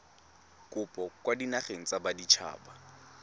kopo kwa dinageng tsa baditshaba